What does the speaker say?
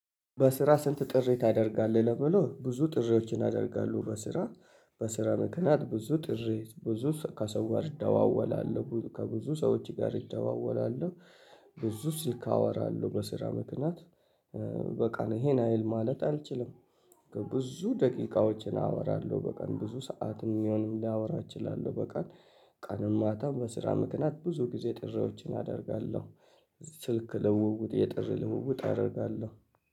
በስራ ስንት ጥሪ ታደርጋለህ? ለሚለው ብዙ ጥሪዎችን አደርጋለሁ በስራ በስራ መክንያት ብዙ ጥሪ ብዙ ከሰው ጋር እደዋወላለሁ ከብዙ ሰዎች ጋር እደዋወላለሁ። ብዙ ስልክ አወራለሁ በስራ ምክንያት። በቀን ይሄን ያህል ማለት አልችልም። ብዙ ደቂቃዎችን አወራለሁ በቀን ብዙ ሰዓት የሚሆንም ሊያወራ እችላለሁ በቀን። ቀንም ማታም በስራ ምክንያት ብዙ ጊዜ ጥሪዎችን አደርጋለሁ። ስልክ ልውውጥ የጥሪ ልውውጥ አደርጋለሁ።